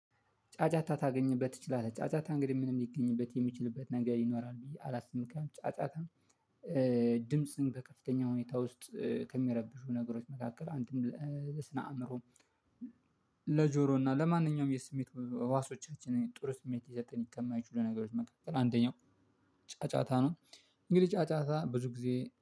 ጫጫታ ታገኝበት ትችላለህ። ጫጫታ እንግዲህ ምንም ሊገኝበት የሚችልበት ነገር ይኖራል ብዬ አላስብም። ጫጫታ ድምጽ በከፍተኛ ሁኔታ ውስጥ ከሚያረብሹ ነገሮች መካከል አንድም ለስነ አእምሮ። ለጆሮና እና ለማንኛውም የስሜት ህዋሶቻችንን ጥሩ ስሜት የሰጠን ይከማይ ችሎ ነገሮች መካከል ጫጫታ ነው። እንግዲህ ጫጫታ ብዙ ጊዜ